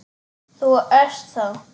Þú ert þá.?